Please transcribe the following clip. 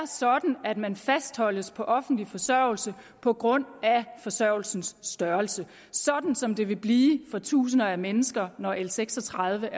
sådan at man fastholdes på offentlig forsørgelse på grund af forsørgelsens størrelse sådan som det vil blive for tusinder af mennesker når l seks og tredive